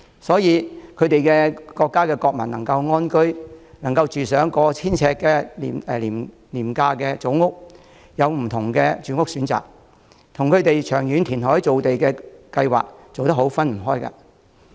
新加坡的國民能安居、能入住過千呎的廉價組屋、能有不同的住屋選擇，與他們有完善的長遠填海造地計劃分不開。